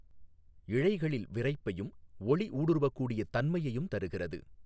இழைகளில் விரைப்பையும் ஒளி ஊடுருவக்கூடிய தன்மையுைம் தருகிறது.